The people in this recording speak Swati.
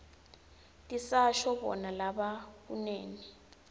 tisasho bona labekunene